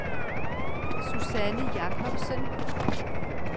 Susanne Jakobsen